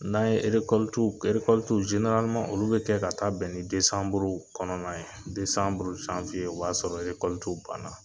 N'an ye w k w olu bɛ kɛ ka taa bɛn ni desanburu kɔnɔna ye. , o b'a sɔrɔ w banna.